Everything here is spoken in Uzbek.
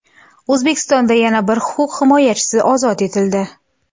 O‘zbekistonda yana bir huquq himoyachisi ozod etildi.